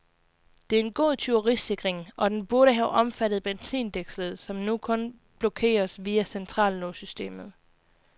Det er en god tyverisikring, og den burde have omfattet benzindækslet, som nu kun blokeres via centrallåssystemet.